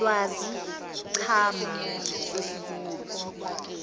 lwazi cha mama